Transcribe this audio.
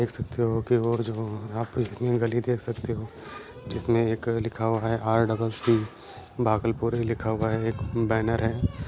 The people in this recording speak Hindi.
देख सकते हो कि वो जो यहा पे गली देख सकते हो जिसमे एक लिखा हुआ है आर डबल सी भागलपुर ही लिखा हुआ एक बेनर् है।